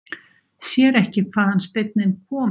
Sér ekki hvaðan steinninn kom.